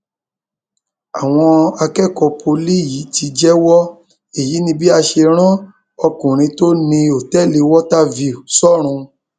àwọn akẹkọọ pọlì yìí ti jẹwọ èyí ni bí a ṣe rán ọkùnrin tó ní òtẹẹlì water view sọrùn